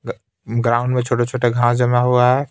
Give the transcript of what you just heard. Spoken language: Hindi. ग ग्राउंड में छोटे-छोटे घास जमा हुआ है.